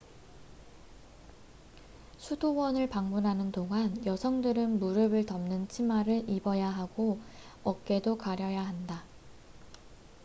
수도원을 방문하는 동안 여성들은 무릎을 덮는 치마를 입어야 하고 어깨도 가려야 한다